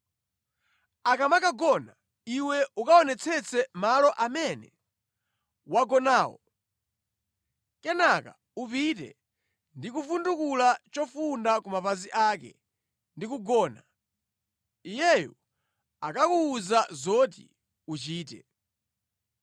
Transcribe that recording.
Akamakagona, iwe ukaonetsetse malo amene wagonawo. Kenaka upite ndi kuvundukula chofunda ku mapazi ake ndi kugona. Iyeyo akakuwuza zoti uchite.”